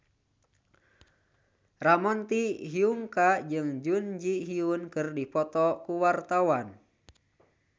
Ramon T. Yungka jeung Jun Ji Hyun keur dipoto ku wartawan